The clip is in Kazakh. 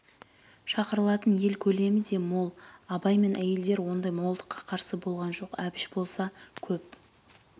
шақырылатын ел көлемі де мол абай мен әйелдер ондай молдыққа қарсы болған жоқ әбіш болса көп